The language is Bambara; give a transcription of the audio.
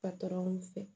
fɛ